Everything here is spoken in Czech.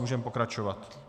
Můžeme pokračovat.